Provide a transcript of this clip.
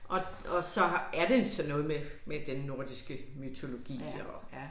Og og så er det sådan noget med med den nordiske mytologi og